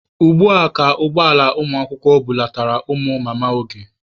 Ugbua ka ụgbọ ala ụmụakwụkwọ bulatara ụmụ Mama Oge.